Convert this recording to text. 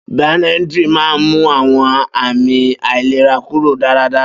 Benadryl máa ń mú àwọn àmì àìlera kúrò dáradára.